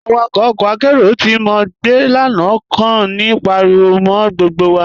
Awàkọ̀ ọkọ́ àkéró tí mo gbẹ́ lánà kàn ní páríwọ̀ mọ́ gbógbo wà.